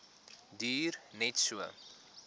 duur net so